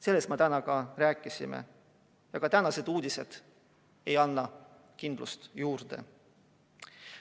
Sellest me täna ka rääkisime, aga värsked uudised ei anna kindlust juurde.